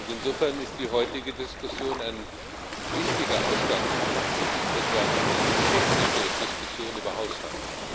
Insofern ist die heutige Diskussion ein wichtiger Ausgangspunkt und nicht etwa eine technische Diskussion über Haushalt.